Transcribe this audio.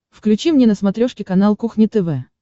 включи мне на смотрешке канал кухня тв